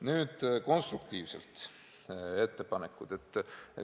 Nüüd konstruktiivsed ettepanekud.